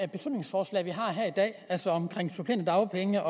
beslutningsforslag vi har her i dag altså om supplerende dagpenge